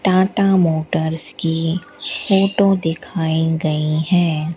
Tata Motors की photo दिखाई गई है।